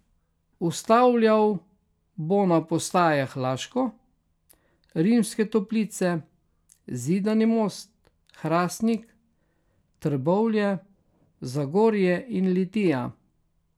Ustavljal bo na postajah Laško, Rimske Toplice, Zidani Most, Hrastnik, Trbovlje, Zagorje in Litija.